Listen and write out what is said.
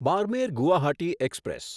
Barmer Guwahati express